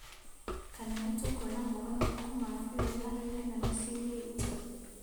Kana nĩtũkuona mogarũrũku ma biũ iharoinĩ na miciĩinĩ itũ?